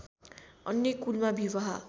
अन्य कुलमा विवाह